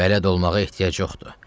Bələd olmağa ehtiyac yoxdur.